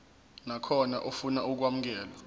nakhona ofuna ukwamukelwa